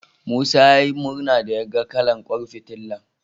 Musa ya yi murna da yaga kalar ƙwan fitilar.